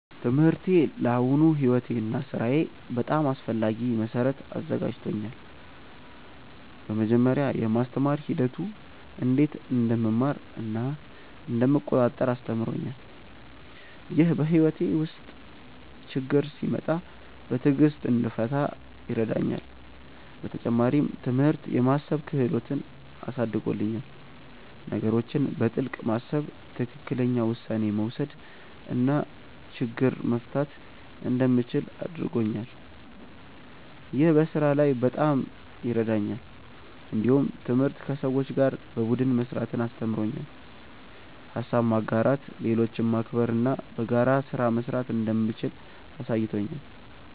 ትምህርቴ ለአሁኑ ሕይወቴ እና ሥራዬ በጣም አስፈላጊ መሠረት አዘጋጅቶኛል። በመጀመሪያ፣ የማስተማር ሂደቱ እንዴት እንደምማር እና እንደምቆጣጠር አስተምሮኛል። ይህ በሕይወቴ ውስጥ ችግኝ ሲመጣ በትዕግሥት እንድፈታ ይረዳኛል። በተጨማሪም፣ ትምህርት የማሰብ ክህሎትን አሳድጎልኛል። ነገሮችን በጥልቅ ማሰብ፣ ትክክለኛ ውሳኔ መውሰድ እና ችግኝ መፍታት እንደምችል አድርጎኛል። ይህ በስራ ላይ በጣም ይረዳኛል። እንዲሁም ትምህርት ከሰዎች ጋር በቡድን መስራትን አስተምሮኛል። ሀሳብ ማጋራት፣ ሌሎችን ማክበር እና በጋራ ስራ መስራት እንደምችል አሳይቶኛል።